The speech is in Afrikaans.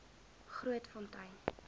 grootfontein